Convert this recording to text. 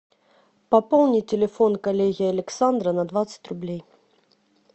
пополни телефон коллеги александра на двадцать рублей